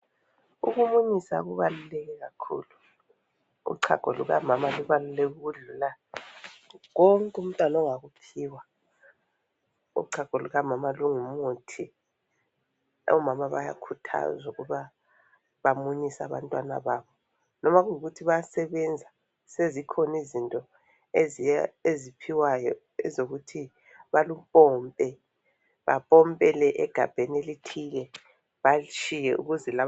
ukumunyisa kubaluleke kakhulu uchago lukamama lubaluleke ukudlula konke umntwana angakuphiwa uchago lukamama lungumuthi omama bayakhuthazwa ukuthi bamunyise abantwana babo loba kuyikuthi bayasebenza sezikhona izinto eziphiwayo ezokuthi baklupombe bapompele egabheni elithile